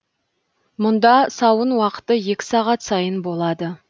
мұнда сауын уақыты екі сағат сайын болады